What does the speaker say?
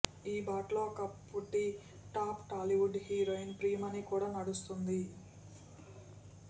ఈ బాటలో ఒకప్పటి టాప్ టాలీవుడ్ హీరోయిన్ ప్రియమణి కూడా నడుస్తోంది